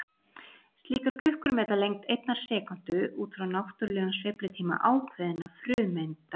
Slíkar klukkur meta lengd einnar sekúndu út frá náttúrulegum sveiflutíma ákveðinna frumeinda.